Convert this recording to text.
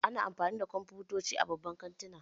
Ana amfani da kwamfutoci a babban kantuna